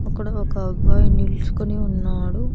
అక్కడ ఒక అబ్బాయి నిలుచుకొని ఉన్నాడు.